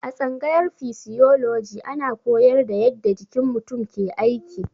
A tsangayar fisioloji ana koyar da yadda jikin mutum ke aiki.